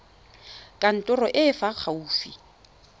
kantorong e e fa gaufi